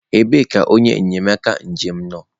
ebee ka onye enyemaka njem nọ?